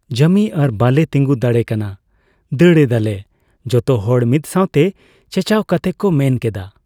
ᱡᱟᱢᱤ ᱟᱨ ᱵᱟᱞᱮ ᱛᱤᱸᱜᱩ ᱫᱟᱲᱮ ᱠᱟᱱᱟ ᱾ ᱫᱟᱹᱲ ᱮᱫᱟᱞᱮ ᱾ ᱡᱚᱛᱚ ᱦᱚᱲ ᱢᱤᱫ ᱥᱟᱣᱛᱮ ᱪᱮᱪᱟᱣ ᱠᱟᱛᱮ ᱠᱚ ᱢᱮᱱ ᱠᱮᱫᱟ ᱾